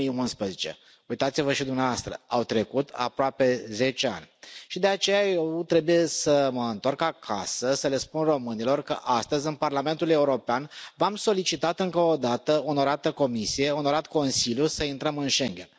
2011. Uitați vă și dumneavoastră, au trecut aproape zece ani și de aceea eu trebuie să mă întorc acasă să le spun românilor că astăzi, în Parlamentul European, v am solicitat încă o dată, onorată Comisie, onorat Consiliu, să intrăm în Schengen.